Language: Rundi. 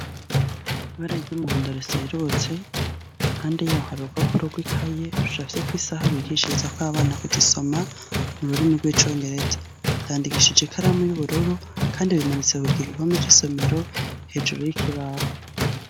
Ibara ry'umuhondo riserutse, impande yaho hari urupapuro rw'ikaye rucafyeko isaha bigirishirizako abana kuzisoma mururima rw'icongereza, bandikishije ikaramu y'ubururu kandi bimanitse mugihome cy’isomero hejuru y'ikibaho.